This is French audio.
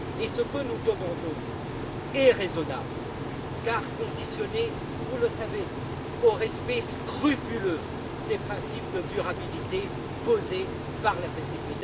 Ce que nous demandons est raisonnable car conditionné vous le savez au respect scrupuleux des principes de durabilité posés par la PCP.